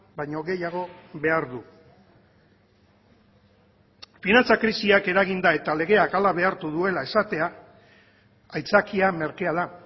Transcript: baino gehiago behar du finantza krisiak eraginda eta legeak hala behartu duela esatea aitzakia merkea da